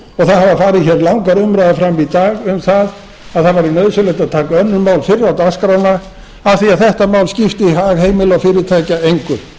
það hafa farið langar umræður fram í dag um það að nauðsynlegt væri að taka önnur mál fyrr á dagskrána af því að þetta mál skipti hag heimila og fyrirtækja engu